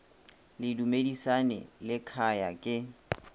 le dumisani le khaya ke